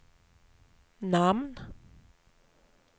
namn